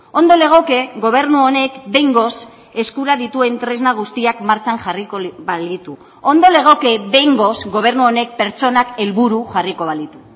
ondo legoke gobernu honek behingoz eskura dituen tresna guztiak martxan jarriko balitu ondo legoke behingoz gobernu honek pertsonak helburu jarriko balitu